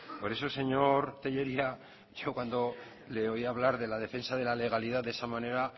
por eso señor tellería yo cuando le oía hablar de la defensa de la legalidad de esa manera